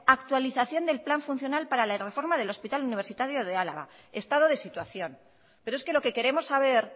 actualización del plan funcional para la reforma del hospital universitario de álava estado de situación pero es que lo que queremos saber